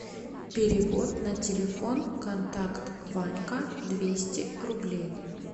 перевод на телефон контакт ванька двести рублей